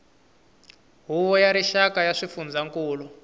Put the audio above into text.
huvo ya rixaka ya swifundzankulu